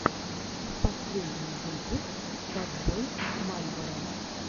последний выпуск ковбой мальборо